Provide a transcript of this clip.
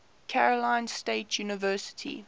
carolina state university